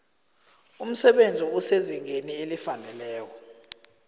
umsebenzi osezingeni elifaneleko